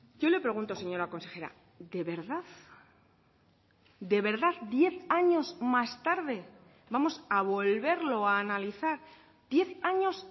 yo le pregunto señora consejera de verdad de verdad diez años más tarde vamos a volverlo a analizar diez años